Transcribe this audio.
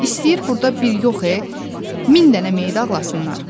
İstəyir burda bir yox eee, min dənə meyid ağlasınlar.